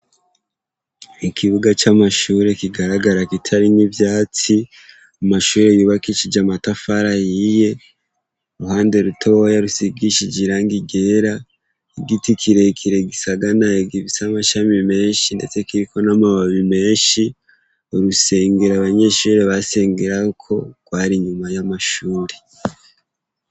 Ikubuga camashure kigaragara kitarimwo ivyatsi, amashure yubakishije amatafari ahiye ,uruhande rutoyi rusigishe irangi ryera, igiti kirekire kiriko amashami menshi kiriko namababi menshi, urusengero abanyeshure basengerako rwari inyuma yamashure.